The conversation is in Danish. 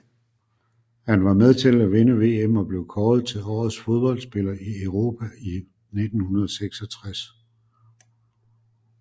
Han var med til at vinde VM og blev kåret til Årets Fodboldspiller i Europa i 1966